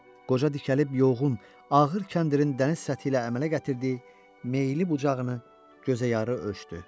Qoca dikəlib yorğun, ağır kəndirin dəniz səthi ilə əmələ gətirdiyi meyli bucağını gözəyarı ölçdü.